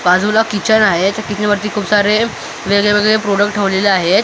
बाजूला किचन त्या किचनवरती खूप सारे वेगळे वेगळे प्रोडक्ट ठेवलेले आहेत इथे आपल्याला जि--